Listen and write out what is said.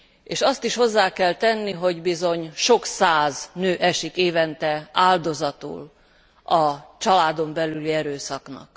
És azt is hozzá kell tenni, hogy bizony sok száz nő esik évente áldozatul a családon belüli erőszaknak.